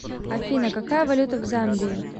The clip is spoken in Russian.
афина какая валюта в замбии